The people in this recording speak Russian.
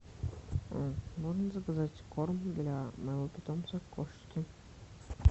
можно заказать корм для моего питомца кошки